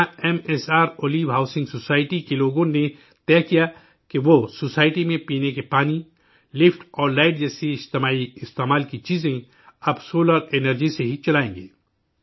یہاں M S R Olive housing society کے لوگوں نے طے کیا کہ وہ سوسائٹی میں پینے کے پانی، لفٹ اور لائٹ جیسی مجموعی استعمال کی چیزیں، اب سولر انرجی سے ہی چلائیں گے